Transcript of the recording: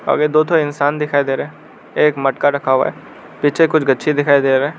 सामने दो ठो इंसान दिखाई दे रहे हैं एक मटका रखा हुआ है पीछे कुछ गाच्चे दिखाई दे रहे हैं।